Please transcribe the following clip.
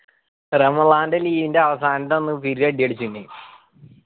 റമളാൻൻ്റെ leave ൻ്റെ അവസാനം അന്ന് ഇവര് ഒരടി അടിച്ചിന്